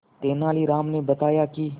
तेनालीराम ने बताया कि